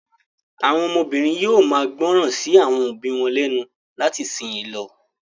Àwọn ọmọbìnrin yóò máa gbọ́ràn sí àwọn òbí wọn lẹ́nu láti ìsìnyín lọ.